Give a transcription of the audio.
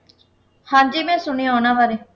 ਹਾਂ ਜੀ ਮੈਂ ਸੁਣਿਆ ਉਨ੍ਹਾਂ ਬਾਰੇ